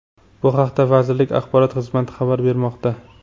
Bu haqda vazirlik Axborot xizmati xabar bermoqda.